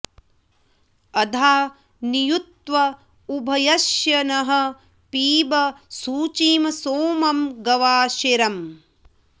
अधा॑ नियुत्व उ॒भय॑स्य नः पिब॒ शुचिं॒ सोमं॒ गवा॑शिरम्